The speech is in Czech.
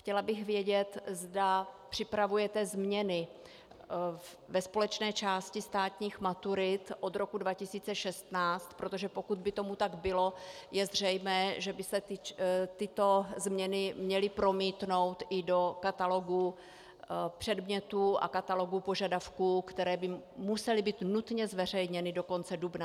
Chtěla bych vědět, zda připravujete změny ve společné části státních maturit od roku 2016, protože pokud by tomu tak bylo, je zřejmé, že by se tyto změny měly promítnout i do katalogu předmětů a katalogu požadavků, které by musely být nutně zveřejněny do konce dubna.